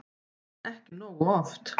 En ekki nógu oft.